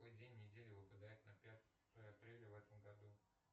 какой день недели выпадает на пятое апреля в этом году